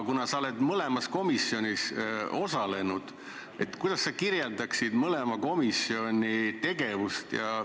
Kuna sa oled mõlema komisjoni töös osalenud, kuidas sa kirjeldaksid mõlema komisjoni tegevust?